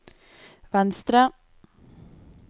venstre